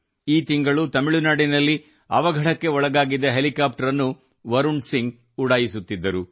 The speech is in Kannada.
ಈ ತಿಂಗಳು ತಮಿಳು ನಾಡಿನಲ್ಲಿ ಅವಘಡಕ್ಕೆ ಒಳಗಾಗಿದ್ದ ಹೆಲಿಕಾಪ್ಟರ್ ಅನ್ನು ವರುಣ್ ಸಿಂಗ್ ಉಡಾಯಿಸುತ್ತಿದ್ದರು